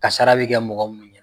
Kasara bɛ kɛ mɔgɔ min ye